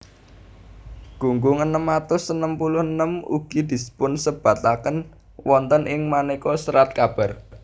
Gunggung enem atus enem puluh enem ugi dipunsebataken wonten ing manéka serat kabar